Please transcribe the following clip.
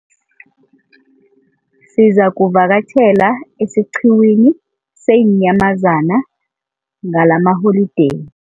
Sizakuvakatjhela esiqhiwini seenyamazana ngalamaholideyi.